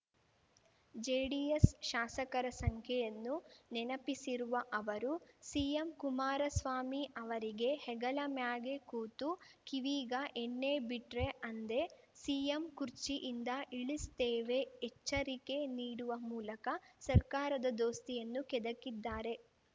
JDS ಶಾಸಕರ ಸಂಖ್ಯೆಯನ್ನು ನೆನಪಿಸಿರುವ ಅವರು ಸಿಎಂ ಕುಮಾರಸ್ವಾಮಿ ಅವರಿಗೆ ಹೆಗಲಮ್ಯಾಗೆ ಕೂತು ಕಿವೀಗ ಎಣ್ಣಿ ಬಿಟ್ರೆ ಅಂದೇ ಸಿಎಂ ಕುರ್ಚಿಯಿಂದ ಇಳಿಸ್ತೇವೆ ಎಚ್ಚರಿಕೆ ನೀಡುವ ಮೂಲಕ ಸರ್ಕಾರದ ದೋಸ್ತಿಯನ್ನು ಕೆದಕಿದ್ದಾರೆ